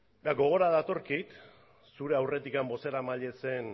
gogora datorkit zure aurretik bozeramaile zen